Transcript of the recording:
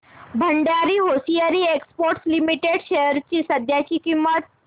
Bhandari hosiery exports limited shares ची सध्याची किंमत